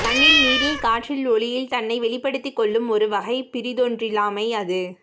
மண்ணில் நீரில் காற்றில் ஒளியில் தன்னை வெளிப்படுத்திக் கொள்ளும் ஒரு வகை பிறிதொன்றிலாமை அது